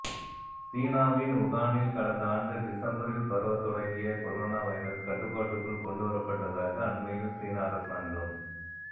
சீனாவின் வுகானில் கடந்த ஆண்டு டிசம்பரில் பரவத் தொடங்கிய கொரோனா வைரஸ் கட்டுப்பாட்டுக்குள் கொண்டுவரப்பட்டதாக அண்மையில் சீன அரசாங்கம்